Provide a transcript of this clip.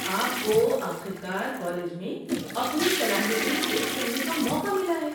آپ کو آخر کار کالج میں اپنی صلاحیتیں پیش کرنے کا موقع ملا ہے۔